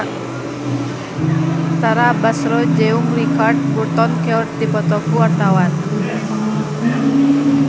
Tara Basro jeung Richard Burton keur dipoto ku wartawan